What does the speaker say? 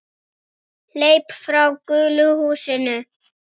Hleyp frá gulu húsinu.